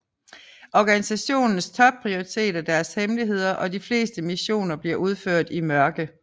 Organisationens topprioritet er deres hemmeligheder og de fleste missioner bliver udført i mørket